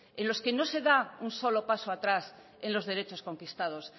en los que no se da un solo paso atrás en los derechos conquistados